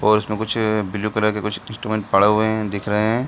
और इसमें कुछ ब्लू कलर के कुछ इस्टूमेंट पड़े हुए हैं दिख रहे हैं।